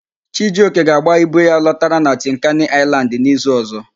Chijioke ga-agba ibu ya lọtara na Tinkani Aịlandị n'izu ọ̀zọ́.